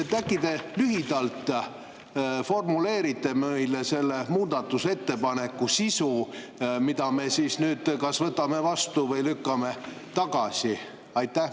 Äkki te formuleerite meile lühidalt selle muudatusettepaneku sisu, mille me kas võtame vastu või lükkame tagasi?